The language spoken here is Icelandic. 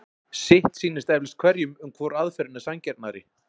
sitt sýnist eflaust hverjum um hvor aðferðin er sanngjarnari